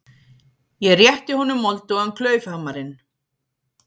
Ég rétti honum moldugan klaufhamarinn.